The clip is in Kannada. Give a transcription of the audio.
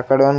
ಆಕಡೆ ಒಂದ್--